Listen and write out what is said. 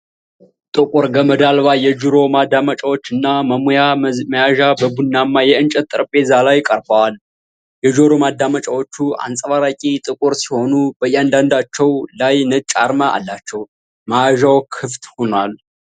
ጥቁር ገመድ አልባ የጆሮ ማዳመጫዎች እና መሙያ መያዣ በቡናማ የእንጨት ጠረጴዛ ላይ ቀርበዋል። የጆሮ ማዳመጫዎቹ አንጸባራቂ ጥቁር ሲሆኑ በእያንዳንዳቸው ላይ ነጭ አርማ አላቸው። መያዣው ክፍት ሆኗል።